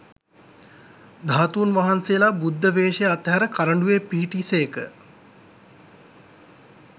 ධාතූන් වහන්සේලා බුද්ධ වේශය අත්හැර කරඬුවේ පිහිටි සේක